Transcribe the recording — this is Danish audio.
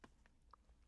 TV 2